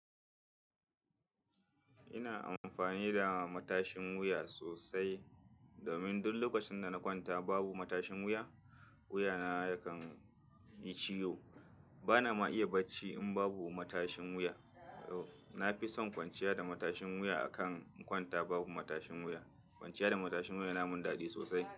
Ina amfani da matashin wuya sosai domin duk lokacin da na kwanta babu matashin wuya, wuya na yakan yi ciwo. Bana ma iya barci in babu matashin wuya. Na fi son kwanciya da matashin wuya akan in kwanta babu matashin wuya. Kwanciya da matashin wuya na mun dadi sosai.